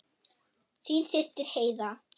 Þín systir Heiða.